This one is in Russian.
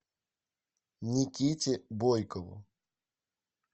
никите бойкову